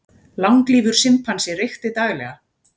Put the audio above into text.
Langlífur simpansi reykti daglega